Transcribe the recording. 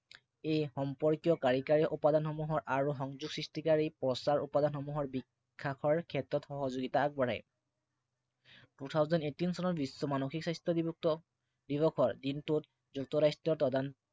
এই সম্পৰ্কীয় কাৰিকৰী উপাদানসমূহৰ আৰু সংযোগ সৃষ্টিকাৰী প্ৰচাৰ উপাদানসমূহৰ বিকাশৰ ক্ষেত্ৰত সহযোগিতা আগবঢ়ায়। Two Thousand Eighteen চনত বিশ্ব মানসিক স্বাস্থ্য় দিৱসৰ দিনটোত যুক্তৰাষ্ট্ৰ